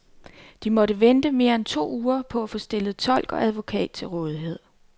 De måtte vente mere end to uger på at få stillet tolk og advokat til rådighed.